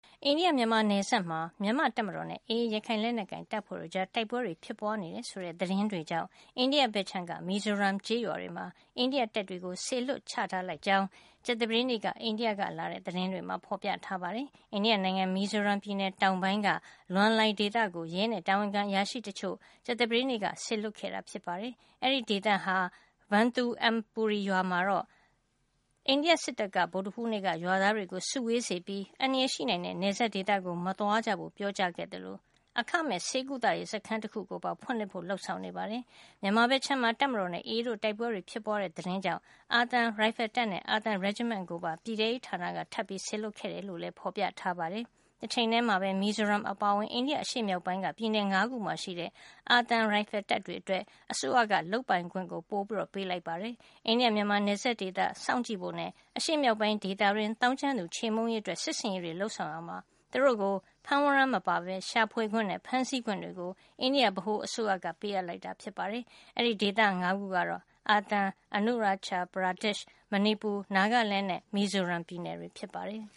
အိန္ဒိယ မြန်မာနယ်စပ်မှာ မြန်မာ့တပ်မတော်နဲ့ AA ရခိုင်လက်နက်ကိုင်တပ်ဖွဲ့တို့ကြား တိုက်ပွဲတွေ ဖြစ်ပွားနေတယ်ဆိုတဲ့ သတင်းတွေကြောင့် အိန္ဒိယဘက်ခြမ်းက မီဇိုရမ် ကျေးရွာတွေမှာ အိန္ဒိယတပ်တွေကို စေလွှတ် ချထားလိုက်ကြောင်း ကြာသပတေးနေ့က အိန္ဒိယက လာတဲ့ သတင်းတွေမှာ ဖေါ်ပြထားပါတယ်။ အိန္ဒိယနိုင်ငံ မီဇီုရမ်ပြည်နယ်တောင်ပိုင်းက Lawngtlai ဒေသကို ရဲနဲ့ တာဝန်ခံအရာရှိတချို့ကို ကြာသပတေးနေ့က စေလွှတ်ခဲ့တာ ဖြစ်ပါတယ်။ အဲဒီဒေသက Vathuampui ရွာမှာတော့ အိန္ဒိယစစ်တပ်က ဗုဒ္ဓဟူးနေ့က ရွာသားတွေကို စုဝေးစေပြီး အန္တရာယ်ရှိနိုင်တဲ့ နယ်စပ်ဒေသကို မသွားကြဖို့ ပြောကြားခဲ့သလို အခမဲ့ ဆေးကုသရေးစခန်းတခုကို ဖွင့်လှစ်ဖို့ လုပ်ဆောင်နေပါတယ်။ မြန်မာဘက်ခြမ်းမှာ တပ်မတော်နဲ့ AA တို့ တိုက်ပွဲတွေ ဖြစ်ပွားတဲ့သတင်းကြောင့် အာသံရိုင်ဖယ်တပ်နဲ့ အာသံ Regiment ကိုပါ ပြည်ထဲရေးဌာနက ထပ်ပြီးစေလွှတ်ခဲ့တယ် လို့လည်း ဖေါ်ပြထားပါတယ်။ တချိန်ထဲမှာပဲ မီဇိုရမ်အပါအဝင် အိန္ဒိယ အရှေ့မြောက်ပိုင်းက ပြည်နယ် ၅ ခုမှာရှိတဲ့ အာသံရိုင်ဖယ်တပ်တွေ အတွက် အစိုးရက လုပ်ပိုင်ခွင့် ပိုပေးလိုက်ပါတယ်။ အိန္ဒိယ မြန်မာ နယ်စပ်ဒေသ စောင့်ကြည့်ဖို့နဲ့ အရှေ့မြောက်ပိုင်းဒေသတွင်း သောင်းကျန်းသူခြေမှုန်းရေးအတွက် စစ်ဆင်ရေးတွေ လုပ်ဆောင်ရာမှာ သူတို့ကို ဝရမ်းမပါပဲ ရှာဖွေခွင့်နဲ့ ဖမ်းဆီးခွင့်တွေ အိန္ဒိယ ဗဟိုအစိုးရက သူတို့ကို ပေးအပ်လိုက်တာ ဖြစ်ပါတယ်။ အဲဒီဒေသ ၅ ခုကတော့ အာသံ၊ Arunachal Pradesh ၊ မဏီပူ၊ Nagaland နဲ့ မီဇိုရမ်ပြည်နယ်တွေ ဖြစ်ပါတယ်။